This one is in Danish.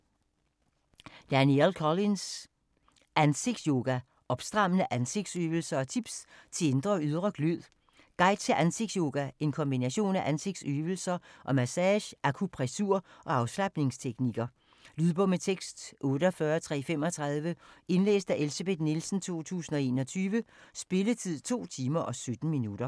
Collins, Danielle: Ansigtsyoga: opstrammende ansigtsøvelser & tips til indre og ydre glød Guide til ansigtsyoga, en kombination af ansigtsøvelser og massage, akupressur og afslapningsteknikker. Lydbog med tekst 48335 Indlæst af Elsebeth Nielsen, 2021. Spilletid: 2 timer, 17 minutter.